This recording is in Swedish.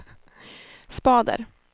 spader